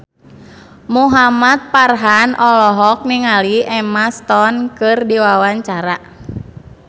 Muhamad Farhan olohok ningali Emma Stone keur diwawancara